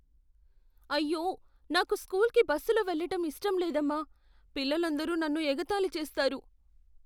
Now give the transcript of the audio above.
అయ్యో! నాకు స్కూల్కి బస్సులో వెళ్ళటం ఇష్టం లేదమ్మా. పిల్లలందరూ నన్ను ఎగతాళి చేస్తారు.